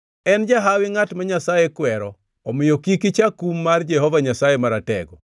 “En jahawi ngʼat ma Nyasaye kwero, omiyo kik icha kum mar Jehova Nyasaye Maratego.